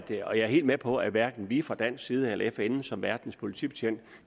er helt med på at hverken vi fra dansk side eller fn som verdens politibetjent